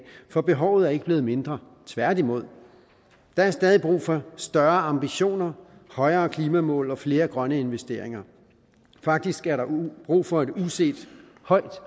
for behovet er ikke blevet mindre tværtimod der er stadig brug for større ambitioner højere klimamål og flere grønne investeringer faktisk er der brug for et hidtil uset højt